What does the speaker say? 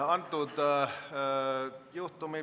Aitäh!